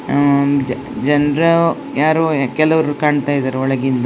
ಉಹ್ಹ್ ಜ ಜನರು ಯಾರು ಕೆಲವ್ರು ಕಾಣ್ತಾ ಇದ್ದಾರೆ ಒಳಗಿ --